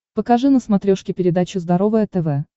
покажи на смотрешке передачу здоровое тв